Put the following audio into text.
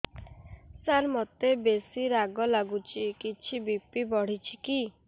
ସାର ମୋତେ ବେସି ରାଗ ଲାଗୁଚି କିଛି ବି.ପି ବଢ଼ିଚି କି